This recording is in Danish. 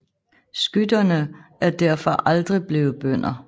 Skytherne er derfor aldrig blevet bønder